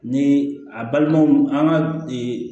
Ni a balimanw an ka